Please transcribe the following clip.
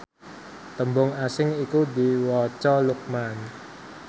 tembung asing iku diwaca Luqman